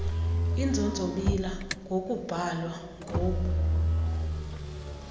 inzonzobila ngokubhalwa ngub